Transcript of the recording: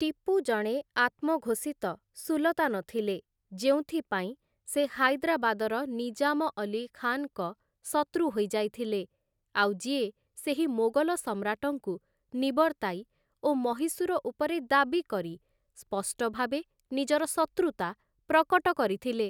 ଟିପୁ ଜଣେ ଆତ୍ମଘୋଷିତ, ସୁଲତାନ ଥିଲେ, ଯେଉଁଥିପାଇଁ ସେ ହାଇଦ୍ରାବାଦର ନିଜାମ ଅଲ୍ଲୀ ଖାନ୍‌ଙ୍କ ଶତ୍ରୁ ହୋଇଯାଇଥିଲେ, ଆଉ ଯିଏ ସେହି ମୋଗଲ ସମ୍ରାଟଙ୍କୁ ନିବର୍ତ୍ତାଇ ଓ ମହୀଶୂର ଉପରେ ଦାବି କରି ସ୍ପଷ୍ଟ ଭାବେ ନିଜର ଶତ୍ରୁତା ପ୍ରକଟ କରିଥିଲେ ।